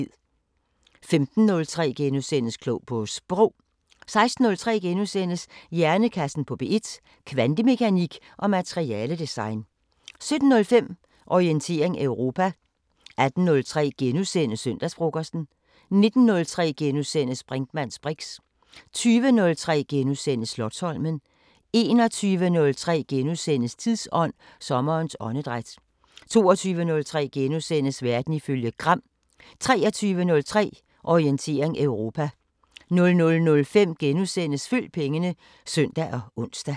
15:03: Klog på Sprog * 16:03: Hjernekassen på P1: Kvantemekanik og materiale-design * 17:05: Orientering Europa 18:03: Søndagsfrokosten * 19:03: Brinkmanns briks * 20:03: Slotsholmen * 21:03: Tidsånd: Sommerens åndedræt * 22:03: Verden ifølge Gram * 23:03: Orientering Europa 00:05: Følg pengene *(søn og ons)